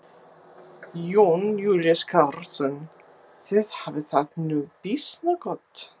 Jón Júlíus Karlsson: Þið hafið það nú býsna gott?